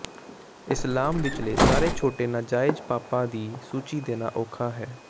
ਇਸਲਾਮ ਵਿਚਲੇ ਸਾਰੇ ਛੋਟੇ ਨਾਜਾਇਜ਼ ਪਾਪਾਂ ਦੀ ਸੂਚੀ ਦੇਣਾ ਔਖਾ ਹੈ